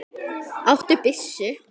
Áttu byssu?